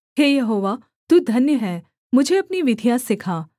हे यहोवा तू धन्य है मुझे अपनी विधियाँ सिखा